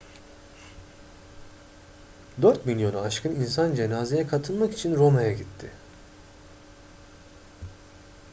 dört milyonu aşkın insan cenazeye katılmak için roma'ya gitti